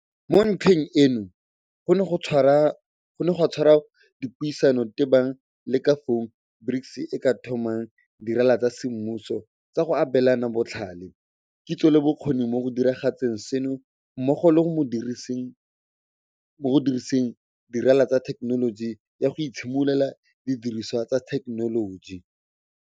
Mo ntlheng eno go ne ga tshwarwa dipuisano tebang le ka fao BRICS e ka tlhomang dirala tsa semmuso tsa go abelana botlhale, kitso le bokgoni mo go diragatseng seno mmogo le mo go diriseng dirala tsa thekenoloji ya go itshimololela didiriswa tsa thekenoloji.